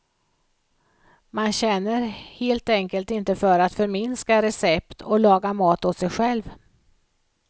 Man känner helt enkelt inte för att förminska recept och laga mat åt sig själv.